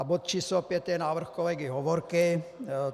A bod číslo 5 je návrh kolegy Hovorky.